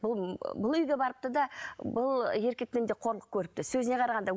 бұл бұл үйге барыпты да бұл еркектен де қорлық көріпті сөзіне қарағанда